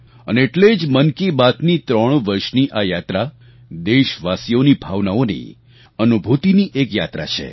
અને એટલે જ મન કી બાતની ત્રણ વર્ષની આ યાત્રા દેશવાસીઓની ભાવનાઓની અનુભૂતિની એક યાત્રા છે